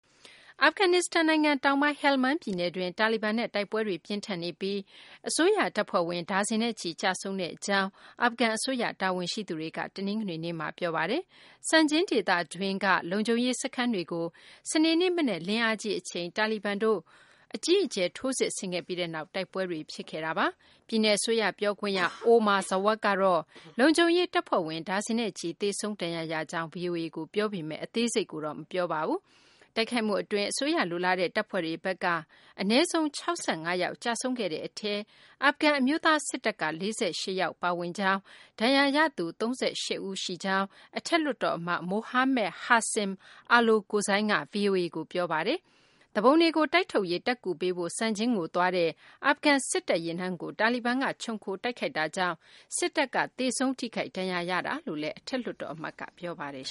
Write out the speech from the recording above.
အာဖဂန်နစ္စတန်နိုင်ငံ တောင်ပိုင်း ဟယ်လ်မန်း ပြည်နယ်တွင်း တာလီဘန်နဲ့ တိုက်ပွဲတွေ ပြင်းထန်နေပြီး အစိုးရ တပ်ဖွဲ့ဝင် ဒါဇင်နဲ့ချီ ကျဆုံးကြောင်း အာဖဂန် အစိုးရ တာဝန်ရှိသူတွေက တနင်္ဂနွေနေ့မှာ ပြောပါတယ်။ Sangin ဒေသတွင်းက လုံခြုံရေး စခန်းတွေကို စနေနေ့ မနက်လင်းအားကြီး အချိန် တာလီဘန်တို့က အကြီးအကျယ် ထိုးစစ်ဆင်ခဲ့ပြီးနောက် တိုက်ပွဲတွေ ဖြစ်ခဲ့တာပါ။ ပြည်နယ် အစိုးရ ပြောခွင့်ရ Omar Zwak ကတော့ လုံခြုံရေး တပ်ဖွဲ့ဝင် ဒါဇင်နဲ့ချီ သေဆုံး ဒဏ်ရာရကြောင်း ဗွီအိုအေကို ပြောပါတယ်။ အသေးစိတ်ကိုတော့ မပြောပါဘူး။ တိုက်ခိုက်မှု အတွင်း အစိုးရ လိုလားတဲ့ တပ်ဖွဲ့တွေဘက်က အနည်းဆုံး ၆၅ ယောက် ကျဆုံးခဲ့တဲ့ အထဲမှာ အာဖဂန် အမျိုးသား စစ်တပ်က ၄၈ ယောက် ပါဝင်ကြောင်း၊ ဒဏ်ရာရသူ ၃၈ ဦး ရှိကြောင်း အထက်လွှတ်တော် အမတ် Mohammed Hasim Alokozai က ဗွီအိုအေကို ပြောပါတယ်။ သူပုန်တွေကို တိုက်ထုတ်ရေး တပ်ကူပေးဖို့ Sangin ကို သွားတဲ့ အာဖဂန် စစ်တပ် ယာဉ်တန်းကို တာလီဘန်က ခြုံခိုတိုက်ခိုက်ခဲ့တာကြောင့် စစ်တပ်က သေဆုံးထိခိုက် ဒဏ်ရာရတာလို့လည်း အထက်လွှတ်တော် အမတ်က ပြောပါတယ်